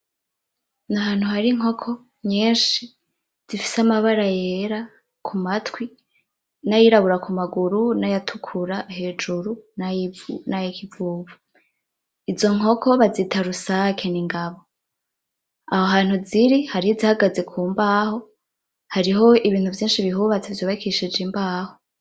N’ahantu hari inkoko nyinshi zifise amabara yera ku matwi n’ayirabura ku maguru n ‘ayatukuru hejuru nay'ikivuvu , izo nkoko bazita rusake n’ingabo aho hantu ziri hariho ihagaze ku mbaho hariho ibintu vyinshi bihubatse vyubakishije imbaho .